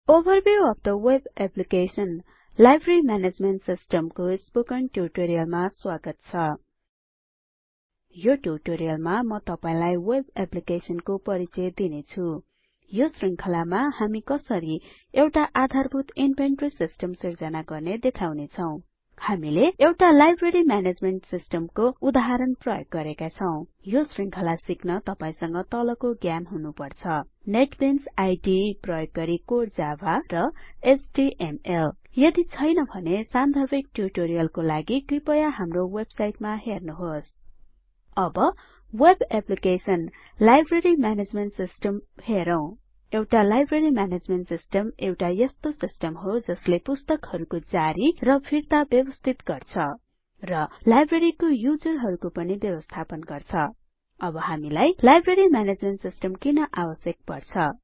overview of the web application - library management system को spoken ट्यूटोरियलमा स्वागत छ यो ट्यूटोरियलमा म तपाइलाई वेब एप्लीकेसनको परिचय दिने छुँ यो श्रृंखलामा हामी कसरी एउटा आधारभूत इन्भेंटरी सिस्टम सिर्जना गर्ने देखाउने छौ हामीले एउटा लाइब्रेरी म्यानेजमेन्ट सिस्टमको उदाहरण प्रयोग गरेका छौ यो श्रृंखला सिक्न तपाईंसँग तलको ज्ञान हुनुपर्छ नेटबीन्स आईडीई प्रयोग गरि कोर जाभा र एचटीएमएल यदि छैन भने सान्दर्भिक ट्यूटोरियलको लागि कृपया हाम्रो वेबसाइट हेर्नुहोस् अब web application library management system हेरौ एउटा लाइब्रेरी म्यानेजमेन्ट सिस्टम एउटा यस्तो सिस्टम हो जसले पुस्तकहरुको जारी र फिर्ता व्यबस्थित गर्छ र लाइब्रेरीको युजरहरूहरुको पनि व्यपस्थापन गर्छ अब हामीलाई लाइब्रेरी म्यानेजमेन्ट सिस्टम किन आवश्यक पर्छ